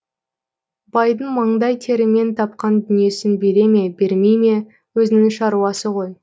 байдың маңдай терімен тапқан дүниесін бере ме бермей ме өзінің шаруасы ғой